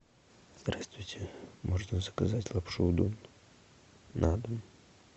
здравствуйте можно заказать лапшу удон на дом